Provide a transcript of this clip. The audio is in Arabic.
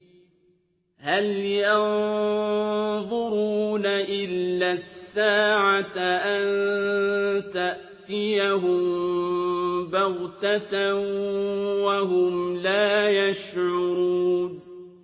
هَلْ يَنظُرُونَ إِلَّا السَّاعَةَ أَن تَأْتِيَهُم بَغْتَةً وَهُمْ لَا يَشْعُرُونَ